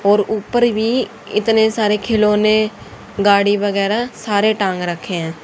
और ऊपर भी इतने सारे खिलौने गाड़ी वगैरा सारे टांग रखे हैं।